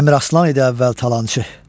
Əmir Aslan idi əvvəl talançı.